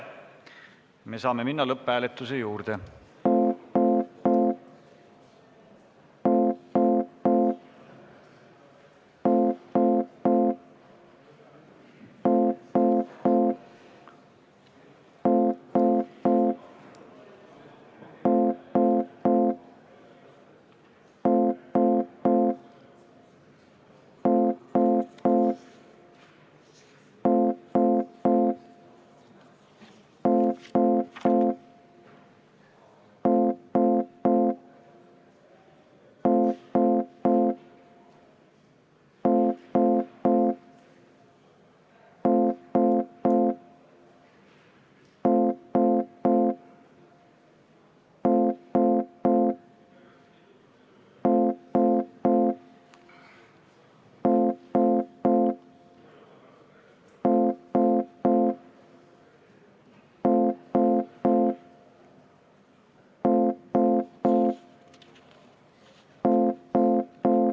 Me saame minna lõpphääletuse juurde.